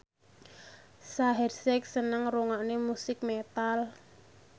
Shaheer Sheikh seneng ngrungokne musik metal